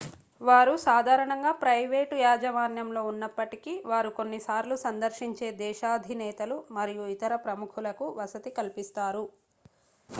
వారు సాధారణంగా ప్రైవేటు యాజమాన్యంలో ఉన్నప్పటికీ వారు కొన్నిసార్లు సందర్శించే దేశాధినేతలు మరియు ఇతర ప్రముఖులకు వసతి కలిపిస్తారు